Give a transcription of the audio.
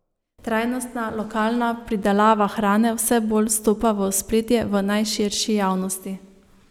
Trajnostna, lokalna pridelava hrane vse bolj stopa v ospredje v najširši javnosti.